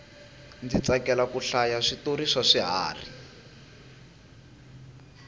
ndzi tsakela ku hlaya switori swa swiharhi